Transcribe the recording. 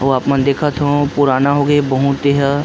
अउ अपन देखत हो पुराना हो गे बहुत ए ह।